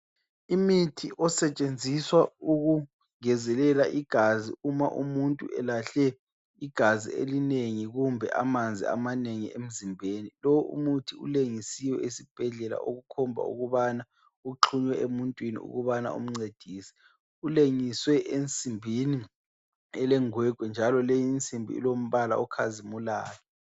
Umuthi osetshenziswa ukungezelela igazi Uma umuntu elahle igazi kumbe amanzi amanengi emzimbeni ,lo umuthi ulengisiwe esibhedlela okukhomba ukubana uxhunywe emuntwini ukubana umncedise, ulengiswe ensimbini elengwegwe njalo le insimbi ilombala okhazimulayo